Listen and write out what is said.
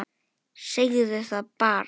Segðu það bara!